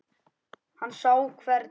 Hann sá hvernig